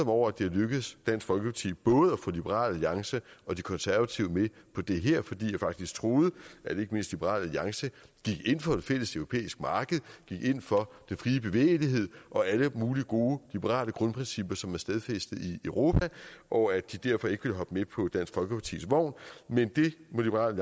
over at det er lykkedes dansk folkeparti både liberal alliance og de konservative med på det her fordi jeg faktisk troede at ikke mindst liberal alliance gik ind for et fælles europæisk marked gik ind for den frie bevægelighed og alle mulige gode liberale grundprincipper som er stadfæstet i europa og at de derfor ikke ville hoppe med på dansk folkepartis vogn men det må liberal